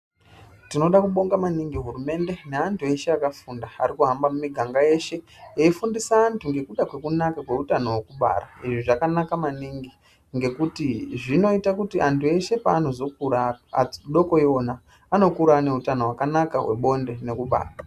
Tinoda kubonga maningi hurumende neanthu eshe akafunda ari kuhamba mumiganga yeshe eifundisa anthu ngekuda kwekunaka kweutano hwekubara izvi zvakanaka maningi ngekuti zvinoita kuti anthu eshe paanozokura akodoko iwona anokura ane utano hwakanaka hwebonde nekubaka.